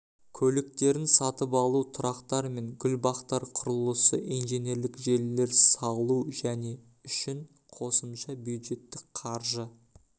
көліктерін сатып алу тұрақтар мен гүлбақтар құрылысы инженерлік желілер салу және үшін қосымша бюджеттік қаржы